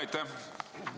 Aitäh!